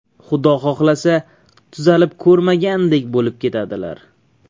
Xudo xohlasa tuzalib ko‘rmagandek bo‘lib ketadilar!